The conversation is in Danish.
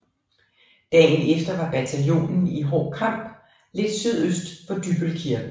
Dagen efter var bataljonen i hård kamp lidt sydøst for Dybbøl Kirke